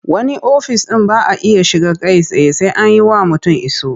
Wani ofis ɗin ba a iya shiga kai tsaye sai an yi wa mutum iso.